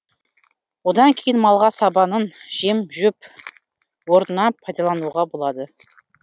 одан кейін малға сабанын жем жөп орнына пайдалануға болады